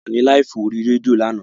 A wà ní láìfù ní orí rédíò lánàá